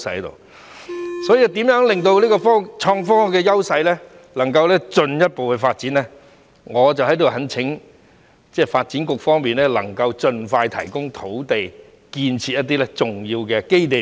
為讓創科的優勢能夠進一步發展，我在此懇請發展局能夠盡快提供土地，為我們建設一些重要的基地。